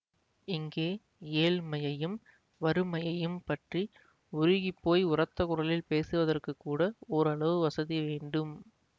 இங்கே ஏழ்மையையும் வறுமையையும் பற்றி உருகிப் போய் உரத்த குரலில் பேசுவதற்குக் கூட ஓரளவு வசதி வேண்டும்